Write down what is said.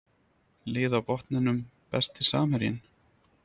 Lið á botninum Besti samherjinn?